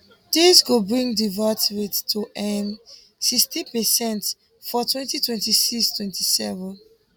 dis go bring di vat rate to um sixteen per cent for twenty twenty six twenty seven